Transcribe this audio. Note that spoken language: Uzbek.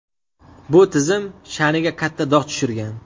Bu tizim sha’niga katta dog‘ tushirgan.